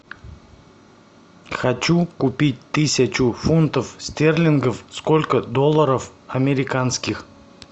хочу купить тысячу фунтов стерлингов сколько долларов американских